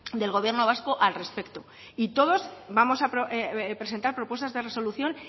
del gobierno vasco al respecto y todos vamos a presentar propuestas de resolución